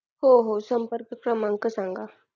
हो हो संपर्क क्रमांक सांगा